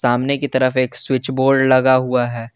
हमने की तरफ एक स्विच बोर्ड लगा हुआ है।